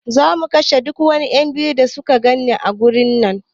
Za mu kashe duk wani ;yan biyu da muka gani a garin nan